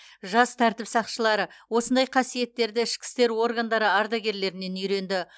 жас тәртіп сақшылары осындай қасиеттерді ішкі істер органдары ардагерлерінен үйренді